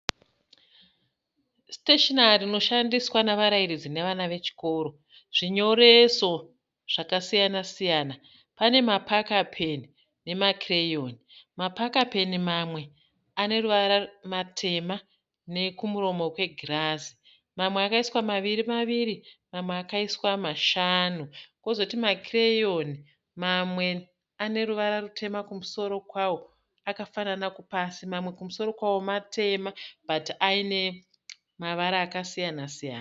Siteshinari inoshandiswa nevarairidzi nevana vechikoro. Zvinyoreso zvakasiyana-siyana. Pane mapaka peni nemakireyoni. Mapaka peni mamwe ane ruvara matema nekumuromo kwegirazi. Mamwe akaiswa maviri maviri. Mamwe akaiswa mashanu. Kozoti makireyoni, mamwe ane ruvara rutema kumusoro kwavo akafanana pasi . Mamwe kumusoro kwawo matema bhati aine mavara akasiyana-siyana.